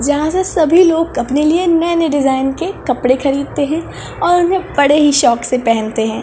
जहाँ से सभी लोग अपने लिए नए-नए डिज़ाइन के कपड़े खरीदते है और उन्हें बड़े ही शौक से पहनते है।